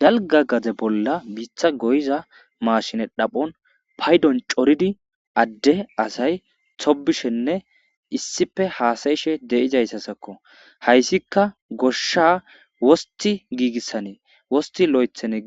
Dalga gade bola bita goyiza machine xaphon paydon c'oridi ade asay tobishenne issipe hasa'ishe dizaysazakko haysika gosha wosti